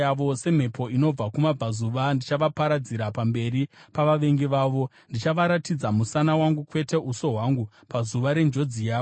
Semhepo inobva kumabvazuva, ndichavaparadzira pamberi pavavengi vavo; ndichavaratidza musana wangu kwete uso hwangu, pazuva renjodzi yavo.”